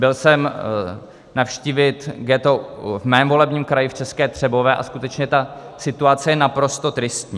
Byl jsem navštívit ghetto v mém volebním kraji v České Třebové a skutečně ta situace je naprosto tristní.